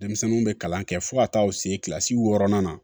Denmisɛnninw bɛ kalan kɛ fo ka taa u se kilasi wɔɔrɔnan na